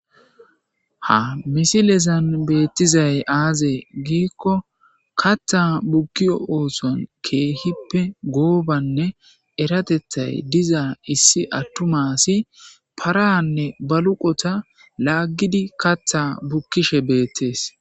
Ha misilezan beettizay aazee giikko katha bukkiyo oosan keehippe goobanne eratethay diza issi attumasi paranne baluqota laaggidi katha bukkishe beettees.